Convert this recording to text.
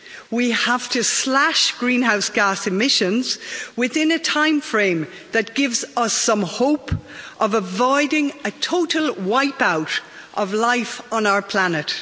We have to slash greenhouse gas emissions within a timeframe that gives us some hope of avoiding a total wipe-out of life on our planet.